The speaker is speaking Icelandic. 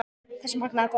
Þessi magnaða kona.